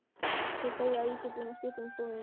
Hver segir að ég sé búinn að skipta um skoðun?